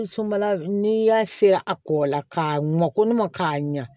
N'i y'a seri a kɔkɔla ka mɔkɔ k'a ɲa